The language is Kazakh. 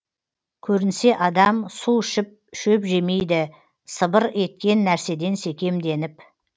көрінсе адам су ішіп шөп жемейді сыбыр еткен нәрседен секемденіп